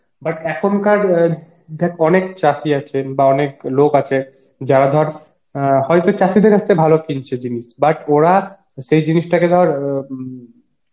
but এখন কার অ্যাঁ দেখ অনেক চাসি আছেন বা অনেক লোক আছে যারা ধর অ্যাঁ চাষীদের কাছ থেকে ভালো কিন্তু জিনিস but ওরা সেই জিনিসটাকে ধর আ উম